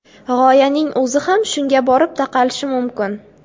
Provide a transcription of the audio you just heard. G‘oyaning o‘zi ham shunga borib taqalishi mumkin.